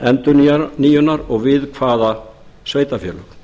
bíði endurnýjunar og við hvaða sveitarfélög